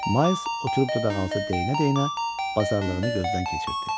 Mayls oturub dodaqaltı deyənə-deyənə bazarlığını gözdən keçirtdi.